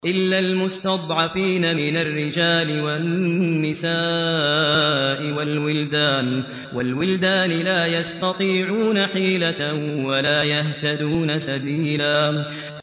إِلَّا الْمُسْتَضْعَفِينَ مِنَ الرِّجَالِ وَالنِّسَاءِ وَالْوِلْدَانِ لَا يَسْتَطِيعُونَ حِيلَةً وَلَا يَهْتَدُونَ سَبِيلًا